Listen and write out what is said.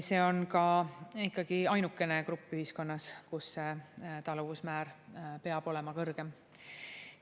See on ka ainukene grupp ühiskonnas, kus see taluvusmäär peab olema kõrgem.